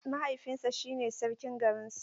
Mahaifinsa shine sarkin garin su.